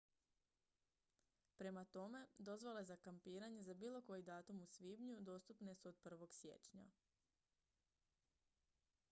prema tome dozvole za kampiranje za bilo koji datum u svibnju dostupne su od 1. siječnja